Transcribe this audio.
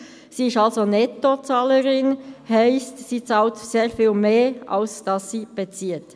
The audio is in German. Sie ist also Nettozahlerin, das heisst, sie bezahlt sehr viel mehr als sie bezieht.